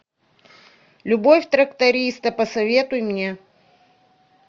любовь тракториста посоветуй мне